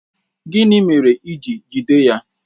Gịnị mere i ji jide ya?